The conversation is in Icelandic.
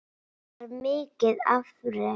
Það var mikið afrek.